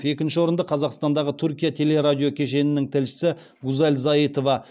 екінші орынды қазақстандағы түркия телерадиокешенінің тілшісі гузаль заитова